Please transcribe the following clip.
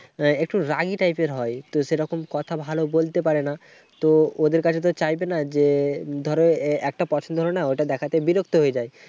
একটু রাগী টাইপের হয়। একটু সেরকম কথা ভালো বলতে পারেনা। তো ওদের কাছে তো চাইবে না। যে ধর একটা পছন্দ হলো না। ঐটা দেখতে বিরক্ত হয়ে যায়।